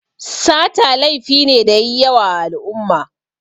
Sata laifi ne da yayi yawa a al'umma